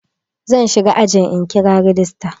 Zan shiga ajin in kira rajista.